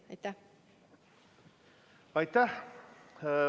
Aitäh!